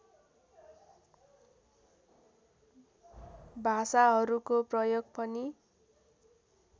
भाषाहरूको प्रयोग पनि